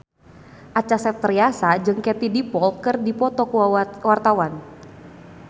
Acha Septriasa jeung Katie Dippold keur dipoto ku wartawan